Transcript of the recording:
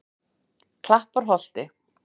Klapparholti